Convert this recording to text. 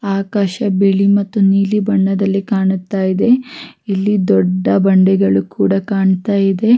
ಆಕಾಶ ಬಿಳಿ ಮತ್ತು ನೀಲಿ ಬಣ್ಣದಲ್ಲಿ ಕಾಣುತ್ತ ಇದೆ ಇಲ್ಲಿ ದೊಡ್ಡ ಬಂಡೆಗಳು ಕೂಡ ಕಾಣ್ತಾ ಇದೆ --